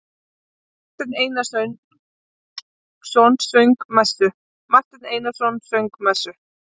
Marteinn Einarsson söng messu.